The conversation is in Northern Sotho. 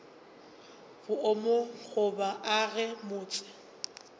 boomo ga bo age motse